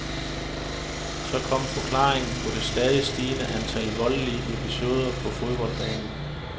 Så kom forklaringen på det stadig stigende antal voldelige episoder på fodboldbanen.